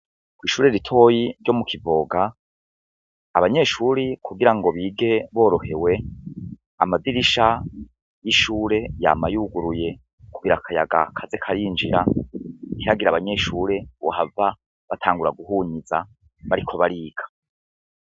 Ishure ritoyi ryo mu kigoboka ,abanyeshure kugirango bige borohewe amadirisha y' ishure yama yuguruye kugirango akayaga kaze karinjira, ntihagire abanyeshure bohava batangura guhunyiza bariko bariga.